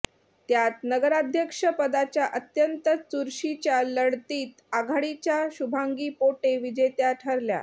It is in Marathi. त्यात नगराध्यक्षपदाच्या अत्यंत चुरशीच्या लढतीत आघाडीच्या शुभांगी पोटे विजेत्या ठरला